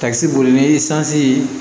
Takisi boli ni sansi ye